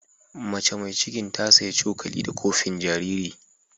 Macea mai cikin ta saya cokali da kofin jariri.